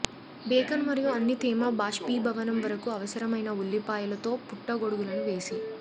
bacon మరియు అన్ని తేమ బాష్పీభవనం వరకు అవసరమైన ఉల్లిపాయలు తో పుట్టగొడుగులను వేసి